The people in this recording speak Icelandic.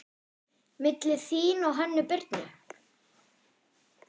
Milli þín og Hönnu Birnu?